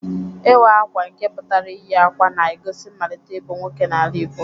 Iwa Akwa nke putara iyi akwa na-egosi nmalite ibu nwoke n'ala Igbo.